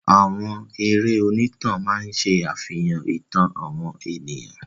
Àwọn eré Onítànà máa ń ṣàfihàn ìtàn àwọn ènìyàn.